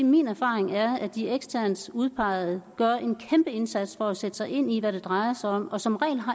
min erfaring er at de eksternt udpegede gør en kæmpeindsats for at sætte sig ind i hvad det drejer sig om og som regel har